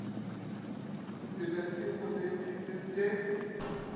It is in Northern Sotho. se be se mo tsentšhitše